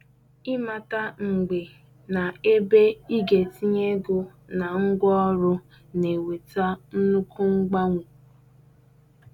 Ịmata mgbe na ebe ị ga-etinye ego na ngwaọrụ na-eweta nnukwu mgbanwe.